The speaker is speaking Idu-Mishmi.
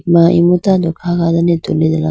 ma imu tando kha done tuli tegala.